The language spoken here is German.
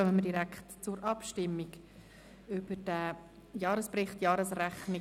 Damit kommen wir direkt zur Abstimmung über diesen Jahresbericht und die Jahresrechnung.